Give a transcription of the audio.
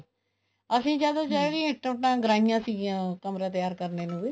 ਅਸੀਂ ਜਦ ਵੀ ਇੱਟਾਂ ਉੱਟਾਂ ਗਰਾਈਆਂ ਸੀਗੀਆਂ ਕਮਰਾ ਤਿਆਰ ਕਰਨੇ ਨੂੰ ਵੀ